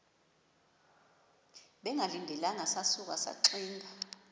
bengalindelanga sasuka saxinga